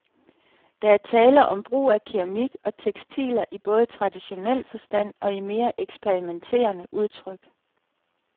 Der er tale om brug af keramik og tekstiler i både traditionel forstand og i mere eksperimenterende udtryk.